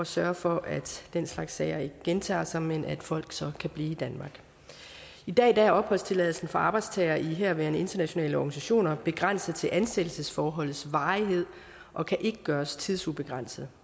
sørge for at den slags sager ikke gentager sig men at folk så kan blive i danmark i dag er opholdstilladelsen for arbejdstagere i herværende internationale organisationer begrænset til ansættelsesforholdets varighed og kan ikke gøres tidsubegrænset